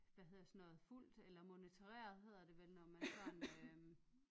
Hvad hedder sådan noget fulgt eller moniteret hedder det vel når man har en øh